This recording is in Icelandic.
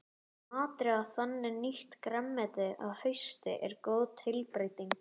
Að matreiða þannig nýtt grænmeti að hausti er góð tilbreyting.